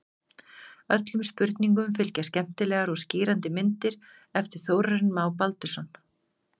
Öllum spurningum fylgja skemmtilegar og skýrandi myndir eftir Þórarinn Má Baldursson.